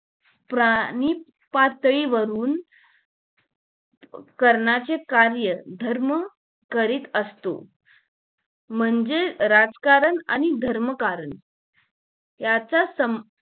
प्राणिपातळी वरून करण्याचे कार्य धर्म करीत असतो म्हणजे राजकारण आणि धर्मकारण याचा सम